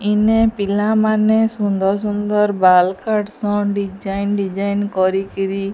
ଇନେ ପିଲାମାନେ ସୁନ୍ଦର ସୁନ୍ଦର ବାଲ କାଟ ସନ ଡିଜାଇନ ଡିଜାଇନ କରିକିରି।